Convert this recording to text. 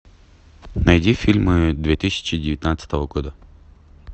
найди фильмы две тысячи девятнадцатого года